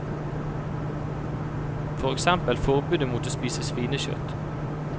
For eksempel forbudet mot å spise svinekjøtt.